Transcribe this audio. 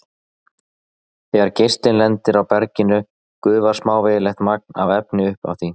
Þegar geislinn lendir á berginu gufar smávægilegt magn af efni upp af því.